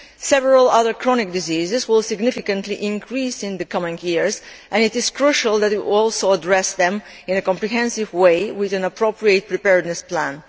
Several other chronic diseases will significantly increase in the coming years and it is crucial that we should also address them in a comprehensive way with an appropriate preparedness plan.